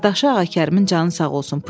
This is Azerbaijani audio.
Qardaşı Ağakərimin canı sağ olsun.